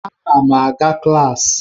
Ana m aga klaasị.